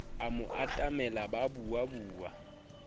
a mo atamela ba buabua